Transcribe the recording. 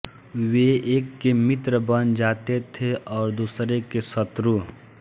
वे एक के मित्र बन जाते थे और दूसरे के शुत्रु